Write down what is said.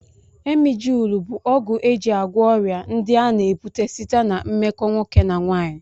Emjịlụ bụ ọgwụ e ji agwọ ọrịa ndị a na-ebute site ná mmekọ nwoke na nwaanyị